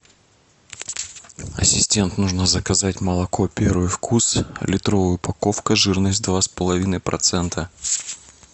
ассистент нужно заказать молоко первый вкус литровая упаковка жирность два с половиной процента